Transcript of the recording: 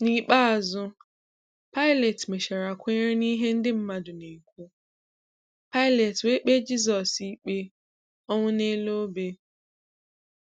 N’ikpeazụ, Pilat mechara kwenyere n’ihe ndị mmadụ na-ekwu, Pilat wee kpee Jisọs ikpe ọnwụ n’elu ọbẹ.